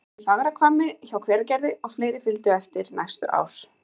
Það var í Fagrahvammi hjá Hveragerði, og fleiri fylgdu á eftir næstu ár.